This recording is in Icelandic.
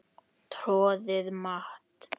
Troðið mat?